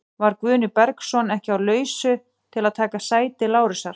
Var Guðni Bergsson ekki á lausu til að taka sæti Lárusar?